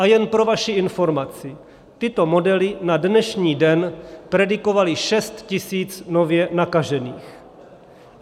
A jen pro vaši informaci, tyto modely na dnešní den predikovaly 6 tisíc nově nakažených.